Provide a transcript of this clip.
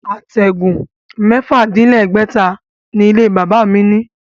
Àtẹ̀gùn mẹ́fà-dín- lẹ́gbẹ̀ta ni ilé-bàbá mi ní